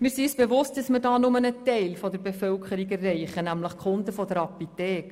Wir sind uns bewusst, dass wir damit nur einen Teil der Bevölkerung erreichen, nämlich die Kunden einer Apotheke.